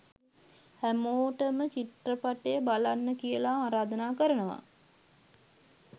හැමොටම චිත්‍රපටය බලන්න කියලා ආරාධනා කරනවා